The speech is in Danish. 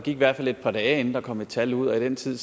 i hvert fald et par dage inden der kom et tal ud og i den tid